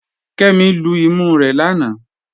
Kẹmi lú ìmú rẹ̀ lánà.